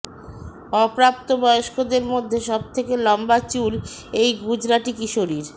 অপ্রাপ্তবয়স্কদের মধ্যে সব থেকে লম্বা চুল এই গুজরাতি কিশোরীর